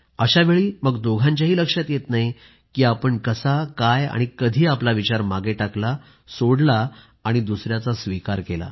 अशावेळी मग दोघांनाही लक्षात येत नाही की आपण कसा काय आणि कधी आपला विचार मागे टाकला सोडला आणि दुसऱ्याचा स्वीकार केला